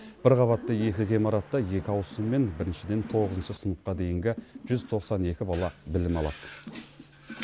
бір қабатты екі ғимаратта екі ауысыммен біріншіден тоғызыншы сыныпқа дейінгі жүз тоқсан екі бала білім алады